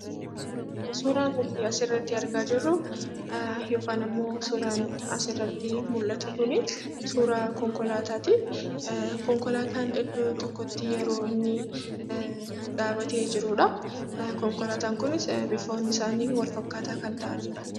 Suuraan nuti asi irratti argaa jirru, yookan immoo suuraan asi irratti mul'atu kuni, suuraa konkolaatati. konkolaatan iddoo tokkotti yeroo inni, dhababte jirudha. Konkalaatan kunis, bifoonni isaani wal-fakkataa kan ta'anidha.